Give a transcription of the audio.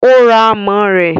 o ra amọ rẹ.